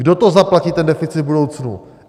Kdo to zaplatí, ten deficit, v budoucnu?